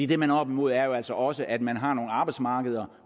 det man er oppe imod er jo altså også at man har nogle arbejdsmarkeder